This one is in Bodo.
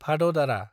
भाददारा